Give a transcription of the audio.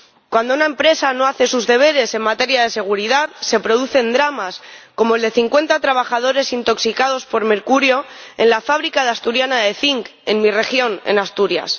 Cuando una empresa no hace sus deberes en materia de seguridad, se producen dramas como el de cincuenta trabajadores intoxicados por mercurio en la fábrica de Asturiana de Zinc, en mi región, en Asturias.